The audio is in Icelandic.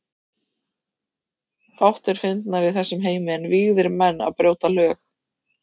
Fátt er fyndnara í þessum heimi en vígðir menn að brjóta lög.